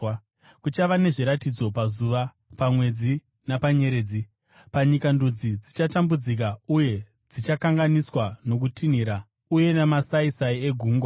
“Kuchava nezviratidzo pazuva, pamwedzi napanyeredzi. Panyika, ndudzi dzichatambudzika uye dzichakanganiswa nokutinhira uye namasaisai egungwa.